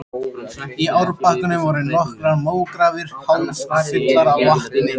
Í árbakkanum voru nokkrar mógrafir hálffullar af vatni.